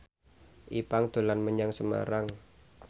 Ipank dolan menyang Semarang